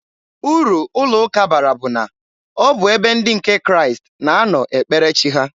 Uru ụlọ ụka bara bụ na, ọ bụ ebe ndị nke Kraịst na-anọ ekpere chi ha.